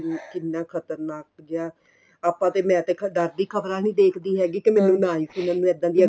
ਕਿੰਨਾ ਖਤਰਨਾਕ ਜਾ ਆਪਾਂ ਤੇ ਮੈਂ ਦੇਖਾ ਡਰ ਦੀ ਖਬਰਾ ਨੀਂ ਦੇਖਦੀ ਹੈਗੀ ਕੇ ਮੈਨੂੰ ਨਾਲ ਕੀ ਮੈਨੂੰ ਇੱਦਾਂ ਦੀਆਂ